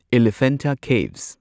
Elephanta caves